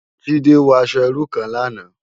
Jide wò aṣò irú kán làná